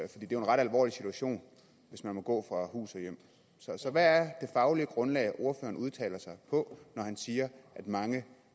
det er jo en ret alvorlig situation hvis man må gå fra hus og hjem så hvad er det faglige grundlag ordføreren udtaler sig på når han siger at mange